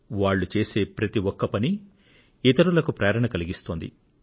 వాళ్లు చేసే ప్రతి ఒక్క పని ఇతరులకు ప్రేరణ కలిగిస్తోంది